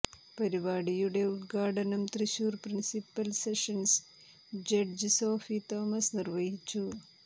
പരിപാടിയുടെ ഉദ്ഘാടനം Thrissur principal sessions judge Sophy Thomas നിർവഹിച്ചു